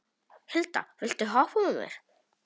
Hilda, viltu hoppa með mér?